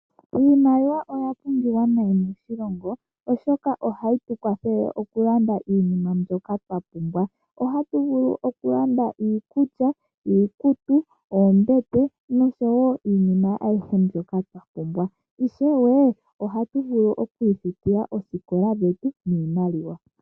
Iimaliwa oya pumbiwa nayi moshilongo oshoka ohayi tu kwathele okulanda iinima mbyoka twa pumbwa. Ohatu vulu okulanda iikulya, iikutu, oombete nosho woo iinima ayihe mbyoka twa pumbwa, ishewe ohatu vulu okwiifutila oosikola dhetu niimaliwa.